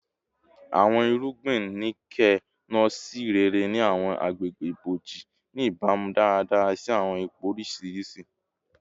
Awọn irugbin Nuke-Noh ṣe rere ni awọn agbegbe iboji, ni ibamu daradara si awọn ipo oriṣiriṣi